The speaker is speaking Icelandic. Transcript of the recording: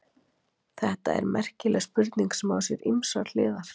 Þetta er merkileg spurning sem á sér ýmsar hliðar.